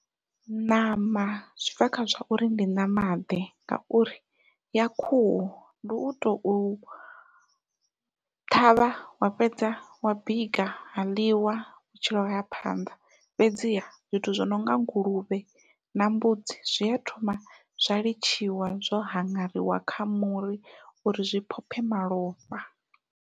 Ṋama zwi bva kha zwa uri ndi ṋama ḓe ngauri ya khuhu ndi uto ṱhavha wa fhedza wa bika ha ḽiwa vhutshilo haya phanḓa, fhedziha zwithu zwi nonga nguluvhe na mbudzi zwia thoma zwa litshiwa zwo haṅariwa kha muri uri zwi phophe malofha.